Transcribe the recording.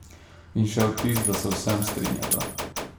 In še vtis, da se v vsem strinjata.